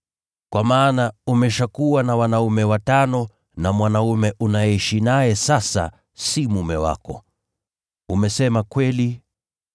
Kwa maana umeshakuwa na wanaume watano na mwanaume unayeishi naye sasa si mume wako! Umesema ukweli.”